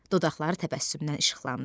Dodaqları təbəssümdən işıqlandı.